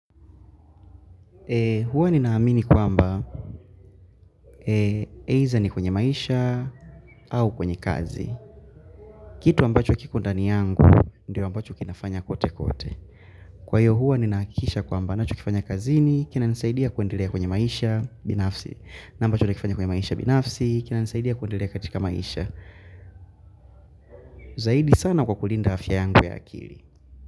Huwa ninaamini kwamba eitha ni kwenye maisha au kwenye kazi. Kitu ambacho kiko ndani yangu ndio ambacho kinafanya kote kote. Kwaivo huwa ninahakikisha kwamba ninachokifanya kazini kinanisaidia kuendelea kwenye maisha binafsi na ambacho nakifanya kwenye maisha binafsi kinanisaidia kuendelea katika maisha. Zaidi sana kwa kulinda afya yangu ya akili.